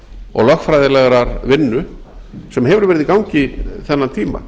og lögfræðilegrar vinnu sem hefur verið í gangi þennan tíma